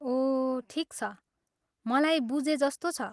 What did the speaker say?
ओह ठिक छ, मलाई बुझे जस्तो छ।